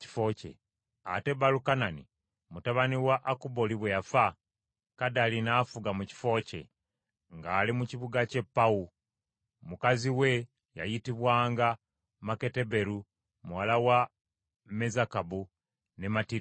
Ate Balukanani mutabani wa Akubooli bwe yafa, Kadali n’afuga mu kifo kye, ng’ali mu kibuga kye Pawu; mukazi we yayitibwanga Meketaberu muwala wa Mezakabu ne Matirida.